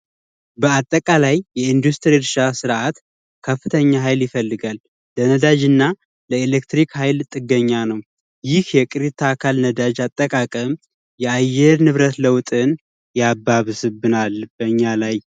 በአጠቃላይ የኢንዱስትሪ እርሻ ስርዐት ከፍተኛ ሀይል ይፈልጋል። ለነዳጅ እና ለኤሌክትሪክ ሀይል ጥገኛ ነው። ይሂ የቅሪተ አካል ነዳጅ አጠቃቀም የአየር ንብረት ለውጥን ያባብስብናል በኛ ላይ።